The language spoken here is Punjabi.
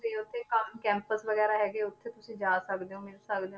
ਤੇ ਉੱਥੇ ਕੰਮ campus ਵਗ਼ੈਰਾ ਹੈਗਾ ਉੱਥੇ ਤੁਸੀਂ ਜਾ ਸਕਦੇ ਹੋ ਮਿਲ ਸਕਦੇ ਹੋ